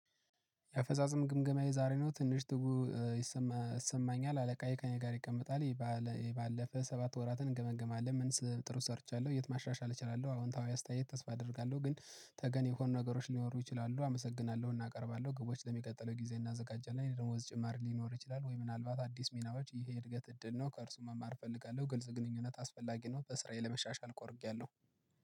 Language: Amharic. የአፈጻጸም ግምገማዬ ዛሬ ነው ትንሽ ትጉ ይሰማኛል አለቃዬ ከእኔ ጋር ይቀመጣል። የባለፈ ሰባት ወራትን እንገመግማለን ምን ጥሩ ሰርቻለሁ የት ማሻሻል እችላለሁ? አዎንታዊ አስተያየት ተስፋ አደርጋለሁ ግን ተገን የሆኑ ነገሮች ሊኖሩ ይችላሉ። አመሰግናለሁ እናቀርባለሁ ግቦች ለሚቀጥለው ጊዜ እናዘጋጃለን የደሞዝ ጭማሬ ሊኖር ይችላል? ወይ ምናልባት አዲስ ሚናዎች ይሄ እድገት እድል ነው። ከእርሱ መማር እፈልጋለሁ ግልጽ ግንኙነት አስፈላጊ ነው። በስራዬ ለመሻሻል ቆርቻለሁ